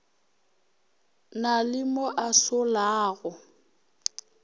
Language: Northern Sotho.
na le mo a solago